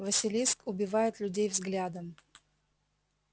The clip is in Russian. василиск убивает людей взглядом